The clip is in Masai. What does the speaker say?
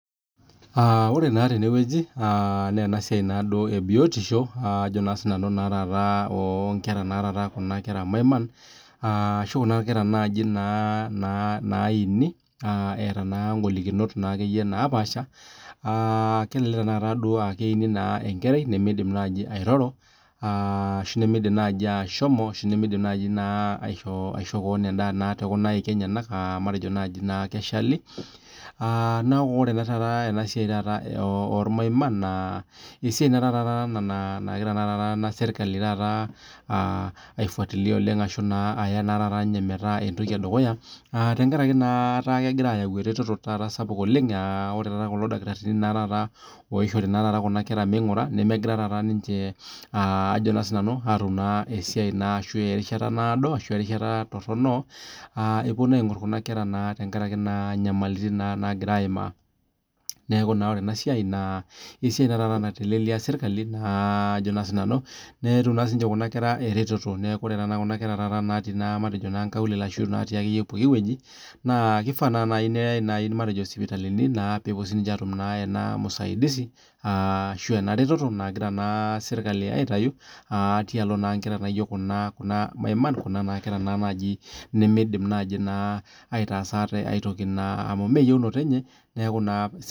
Ore naa tenewueji naa enasiai ee biotisho oo Kuna kera maiman ashu Kuna Kuna kera Naini etaa golikiton naa paasha kelelek aa keini enkerai naaji nimidim airoro ashu nimidim aishoo kewon endaa too nkaik enyena matejo naaji keshali naa ore ena siai oo irmaiman naa esiai taata nagira ena sirkali ai fuatilia oleng ashu Aya naa meeta entoki edukuya tenkaraki taata etaa kegira ayau eretoto sapuk oleng aa ore kulo dakitarini oishori Kuna kera mingura nemegira ninche atum esaia arashu erishata nadoo ashu erishata Toronto epuo aing'or Kuna kera tenkaraki naa nagira ayimaa neeku ore ena siai naa esiai naitelelia sirkali netum naa Kuna kera eretoto matejo taata nkaulele ashu natii ake pookin wueji kifaa naa naaji neyai sipitali pee epuo sininje atum ena usaidizi ashu ena retoto nagira sirkali aitau tialo nkera naijio Kuna maiman Kuna kera nimidim aitasa atee aitoki amu mmee eyiunoto enye